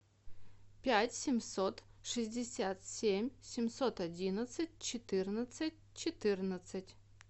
пять семьсот шестьдесят семь семьсот одиннадцать четырнадцать четырнадцать